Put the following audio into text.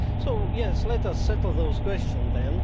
So yes, let us settle those questions then.